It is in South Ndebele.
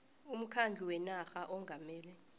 umkhandlu wenarha ongamele